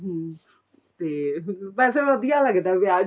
ਹਮ ਤੇ ਬੱਸ ਵਧੀਆ ਲੱਗਦਾ ਵਿਆਹ ਚ